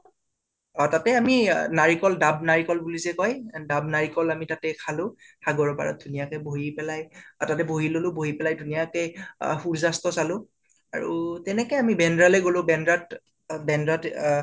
অ তাতে আমি অ নাৰিকল ডাব নাৰিকল বুলি যে কয় ডাব নাৰিকল আমি তাতে খালো সাগৰৰ পাৰত ধুনীয়াকে বহি পেলাই তাতে বহি ললোঁ বহি পেলাই ধুনীয়াকে আ সুৰ্য় অস্ত চালো আৰু তেনেকে আমি বেন্দ্ৰা লৈ গʼলো আৰু বেন্দ্ৰাত অ বেন্দ্ৰাত অ